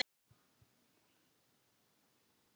Um hádegið dró herra Páll fram box með hveitibollum